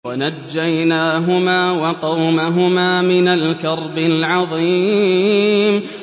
وَنَجَّيْنَاهُمَا وَقَوْمَهُمَا مِنَ الْكَرْبِ الْعَظِيمِ